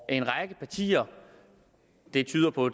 en række partier det tyder på